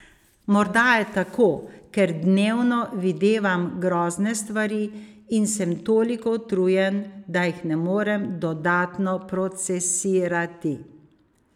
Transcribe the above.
Morda je tako, ker dnevno videvam grozne stvari in sem toliko utrujen, da jih ne morem dodatno procesirati.